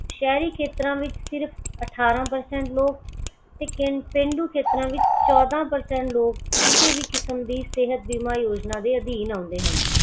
ਸ਼ਹਿਰੀ ਖੇਤਰਾਂ ਵਿੱਚ ਸਿਰਫ ਅਠਾਰਾਂ percent ਲੋਕ ਤੇ ਪੇਂਡੂ ਖੇਤਰਾਂ ਵਿੱਚ ਚੋਦਾਂ percent ਲੋਕ ਕਿਸੇ ਵੀ ਕਿਸਮ ਦੀ ਸਿਹਤ ਬੀਮਾ ਯੋਜਨਾ ਦੇ ਅਧੀਨ ਆਉਂਦੇ ਹਨ